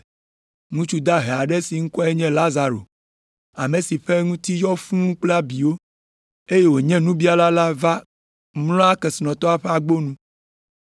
Ŋutsu dahe aɖe si ŋkɔe nye Lazaro, ame si ƒe ŋuti yɔ fũu kple abiwo, eye wònye nubiala la va mlɔa kesinɔtɔ sia ƒe agbo nu.